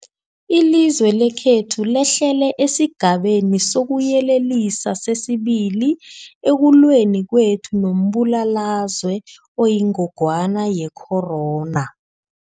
Ilizwe lekhethu lehlele esiGabeni sokuYelelisa sesi-2 ekulweni kwethu nombulalazwe oyingogwana ye-corona.